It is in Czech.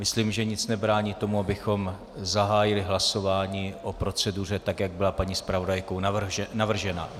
Myslím, že nic nebrání tomu, abychom zahájili hlasování o proceduře, tak jak byla paní zpravodajkou navržena.